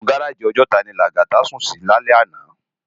Inú gáráji Òjòtá ni Lagata sún si lálè àná